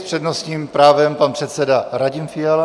S přednostním právem pan předseda Radim Fiala.